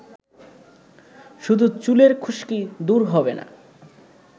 শুধু চুলের খুশকি দূর হবে না